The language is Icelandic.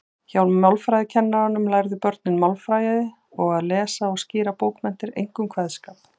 Hjá málfræðikennaranum lærðu börnin málfræði og að lesa og skýra bókmenntir, einkum kveðskap.